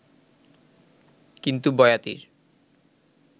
কিন্তু বয়াতির